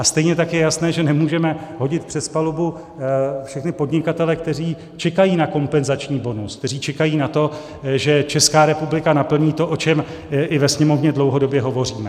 A stejně tak je jasné, že nemůžeme hodit přes palubu všechny podnikatele, kteří čekají na kompenzační bonus, kteří čekají na to, že Česká republika naplní to, o čem i ve Sněmovně dlouhodobě hovoříme.